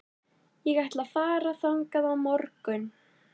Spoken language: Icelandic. Við tefldum í fjóra klukkutíma!